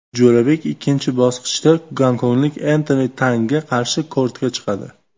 Jo‘rabek ikkinchi bosqichda gonkonglik Entoni Tangga qarshi kortga chiqadi.